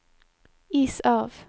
is av